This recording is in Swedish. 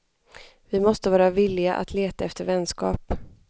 Vi måste vara villiga att leta efter vänskap.